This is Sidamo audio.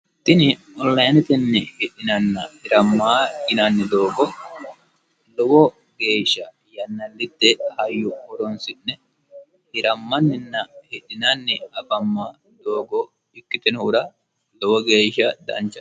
tini ollaanetenni hidhinanna hirammaa inanni doogo lowo geeshsha yannallitte hayyu woroonsi'ne hirammanninna hidhinanni abamma doogo ikkitinuhura lowo geeshsha danchan